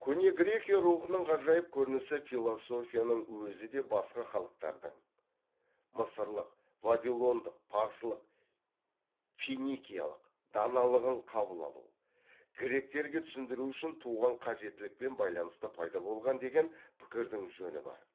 көне грекия рухының ғажайып көрінісі философияның өзі де басқа халықтардың мысырлық вавилондық парсылық финикиялық даналығын қабыл алу гректерге түсіндіру үшін туған қажеттілікпен байланысты пайда болған деген пікірдің жөні бар